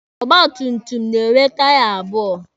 Ọgba tum tum na-enwe taya abụọ.